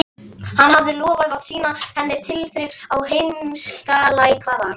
Hann hreifst af þessari öflugu uppbyggingu og útsmogna glæsibrag.